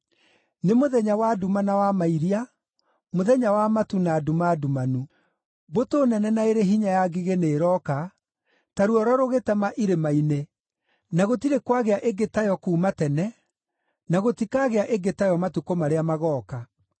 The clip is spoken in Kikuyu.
nĩ mũthenya wa nduma na wa mairia, mũthenya wa matu na nduma ndumanu. Mbũtũ nene na ĩrĩ hinya ya ngigĩ nĩĩroka ta ruoro rũgĩtema irĩma-inĩ, na gũtirĩ kwagĩa ĩngĩ tayo kuuma tene, na gũtikagĩa ĩngĩ tayo matukũ marĩa magooka.